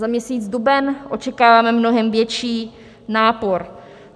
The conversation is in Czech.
Za měsíc duben očekáváme mnohem větší nápor.